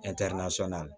la